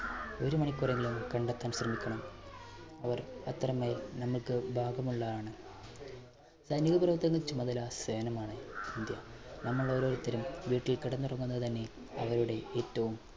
ഒരു മണിക്കൂറെങ്കിലും കണ്ടെത്താൻ ശ്രമിക്കണം. അവർ മാത്രമേ നമുക്ക് ഭാഗമുള്ളതാണ് സൈനിക പ്രവർത്തനങ്ങൾ ചുമതല സേനമാണ് ഇന്ത്യ നമ്മൾ ഓരോരുത്തരും വീട്ടിൽ കിടന്നുറങ്ങുന്നത് തന്നെ അവരുടെ ഏറ്റവും